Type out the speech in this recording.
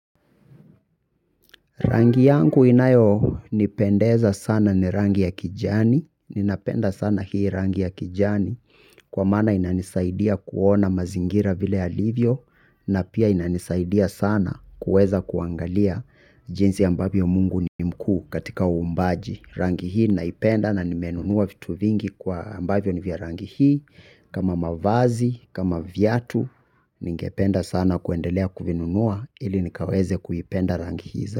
Rangi yangu inayonipendeza sana ni rangi ya kijani, ninapenda sana hii rangi ya kijani, kwa maana inanisaidia kuona mazingira vile yalivyo, na pia inanisaidia sana kuweza kuangalia jinsi ambavyo mungu ni mkuu katika uumbaji. Rangi hii naipenda na nimenunua vitu vingi kwa ambavyo ni vya rangi hii kama mavazi, kama viatu, ningependa sana kuendelea kuvinunua ili nikaweze kuipenda rangi hii.